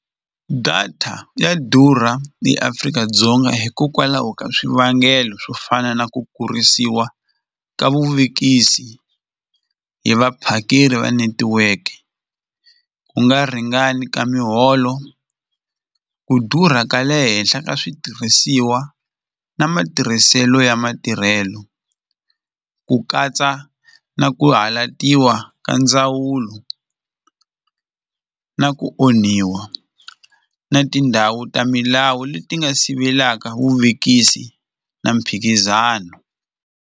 Data ya durha eAfrika-Dzonga hikokwalaho ka swivangelo swo fana na ku kurisiwa ka vuvekisi hi vaphakeri va netiweke, ku nga ringani ka miholo, ku durha ka le henhla ka switirhisiwa na matirhiselo ya matirhelo ku katsa na ku halatiwa ka ndzawulo na ku onhiwa na tindhawu ta milawu leti nga sivelaka vuvekisi na mphikizano.